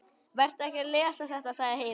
Vertu ekki að lesa þetta, sagði Heiða.